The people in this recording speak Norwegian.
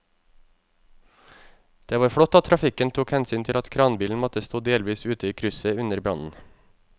Det var flott at trafikken tok hensyn til at kranbilen måtte stå delvis ute i krysset under brannen.